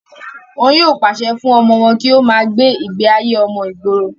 wọn yóò pàṣẹ fún ọmọ wọn kí ó má gbé ìgbé ayé ọmọ ìgboro